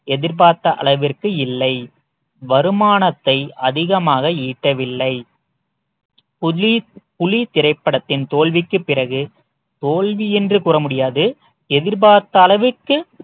எதிர்பார்த்த அளவிற்கு இல்லை வருமானத்தை அதிகமாக ஈட்டவில்லை புலி புலி திரைப்படத்தின் தோல்விக்கு பிறகு தோல்வி என்று கூற முடியாது எதிர்பார்த்த அளவிற்கு